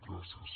gràcies